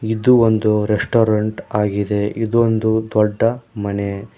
ಇದು ಒಂದು ರೆಸ್ಟೋರೆಂಟ್ ಆಗಿದೆ ಇದೊಂದು ದೊಡ್ಡ ಮನೆ.